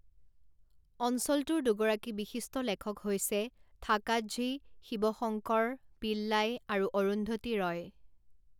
অঞ্চলটোৰ দুগৰাকী বিশিষ্ট লেখক হৈছে ঠাকাঝি শিৱশংকৰ পিল্লাই আৰু অৰুন্ধতী ৰয়।